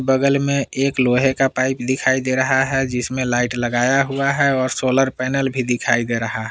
बगल में एक लोहे का पाइप दिखाई दे रहा है जिसमें लाइट लगाया हुआ है और सोलर पैनल भी दिखाई दे रहा--